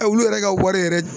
Ɛ olu yɛrɛ ka wari yɛrɛ